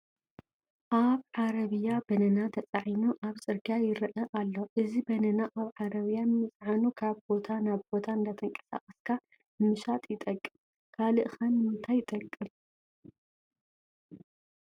ኣብ ዓረቢያ በነና ተፃዒኑ ኣብ ፅርጊያ ይርአ ኣሎ፡፡ እዚ በነና ኣብ ዓረብያ ምፅዓኑ ካብ ቦታ ናብ ቦታ እንዳተንቀሳቐስካ ንምሻጥ ይጠቅም፡፡ ካልእ ኸ ንምንታይ ይጠቅም?